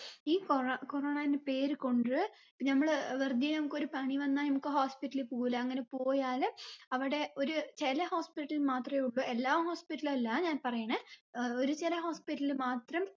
ഈ കോറോ corona എന്ന പേര് കൊണ്ട് നമ്മൾ വെറുതേ നമുക്കൊരു പനി വന്നാ നമ്മുക്ക് hospital പോവൂലെ അങ്ങനെ പോയാല് അവിടെ ഒര് ചില hospital മാത്രെ ഉള്ളൂ എല്ലാ hospital അല്ല ഞാൻ പറയണേ ഏർ ഒരു ചില hospital മാത്രം